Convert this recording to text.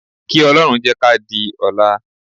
Kí Ọlọ́run jẹ́ ká di ọ̀la